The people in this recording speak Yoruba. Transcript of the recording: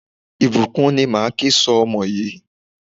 Ìbùkún ni máa ke sọ ọmọ yìí.